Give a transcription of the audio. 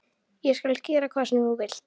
Ég skal gera hvað sem þú vilt.